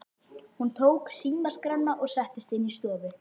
Hún tók símaskrána og settist inn í stofu.